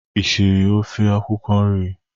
Ị siri ofe akwụkwọ nri?